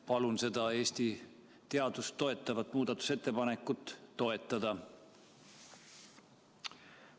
Palun seda Eesti teadust toetavat muudatusettepanekut toetada!